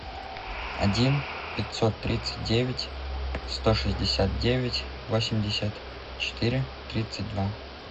один пятьсот тридцать девять сто шестьдесят девять восемьдесят четыре тридцать два